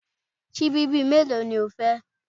Síbí bíi mélòó ni o fẹ́?